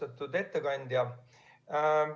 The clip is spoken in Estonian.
Austatud ettekandja!